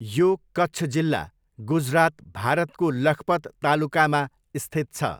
यो कच्छ जिल्ला, गुजरात, भारतको लखपत तालुकामा स्थित छ।